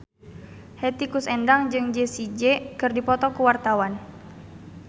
Hetty Koes Endang jeung Jessie J keur dipoto ku wartawan